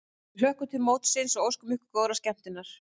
Við hlökkum til mótsins og óskum ykkur góðrar skemmtunar!